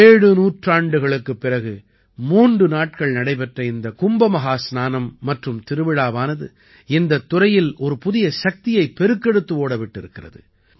ஏழு நூற்றாண்டுகளுக்குப் பிறகு மூன்று நாட்கள் நடைபெற்ற இந்தக் கும்ப மஹாஸ்நானம் மற்றும் திருவிழாவானது இந்தத் துறையில் ஒரு புதிய சக்தியைப் பெருக்கெடுத்து ஓட விட்டிருக்கிறது